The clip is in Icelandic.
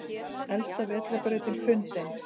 Elsta vetrarbrautin fundin